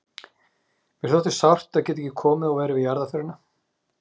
Mér þótti sárt að geta ekki komið og verið við jarðarförina.